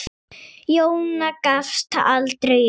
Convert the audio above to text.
Jóna gafst aldrei upp.